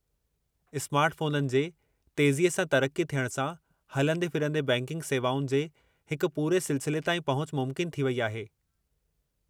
स्मार्टफोननि जे तेज़ी सां तरक़्क़ी थियण सां, हलंदे-फिरंदे बैंकिंग सेवाउनि जे हिक पूरे सिलसिले ताईं पहुच मुमकिन थी वई आहे।